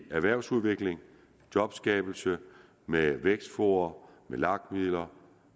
erhvervsudvikling jobskabelse med vækstfora med lag midler